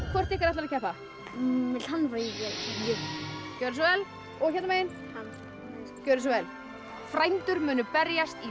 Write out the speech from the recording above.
hvort ykkar ætlar að keppa hann gjörðu svo vel og hérna megin hann gjörðu svo vel frændur munu berjast í